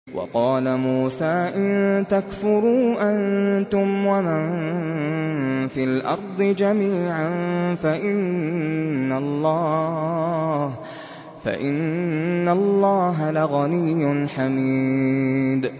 وَقَالَ مُوسَىٰ إِن تَكْفُرُوا أَنتُمْ وَمَن فِي الْأَرْضِ جَمِيعًا فَإِنَّ اللَّهَ لَغَنِيٌّ حَمِيدٌ